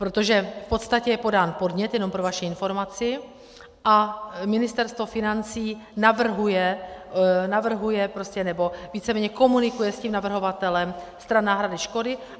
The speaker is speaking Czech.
Protože v podstatě je podán podnět, jenom pro vaši informaci, a Ministerstvo financí navrhuje, nebo víceméně komunikuje s tím navrhovatelem stran náhrady škody.